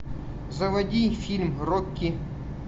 заводи фильм рокки